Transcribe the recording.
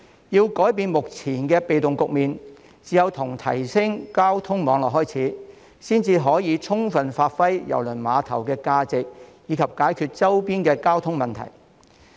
要改變目前的被動局面，只有從提升交通網絡方面着手，才可以充分發揮郵輪碼頭的價值，以及解決周邊的交通問題。